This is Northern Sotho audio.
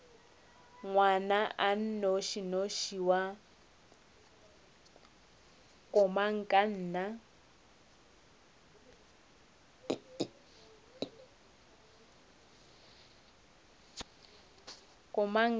ngwana a nnošinoši wa komangkanna